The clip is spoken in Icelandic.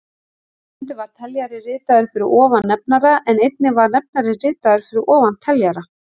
Stundum var teljari ritaður fyrir ofan nefnara en einnig var nefnari ritaður fyrir ofan teljara.